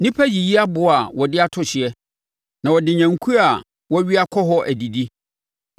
Nnipa yiyi aboɔ a wɔde ato hyeɛ; na wɔde nnwankuo a wɔawia kɔ hɔ adidi.